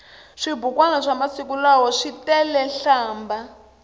swibukwani swamasiku lawa switelenhlambha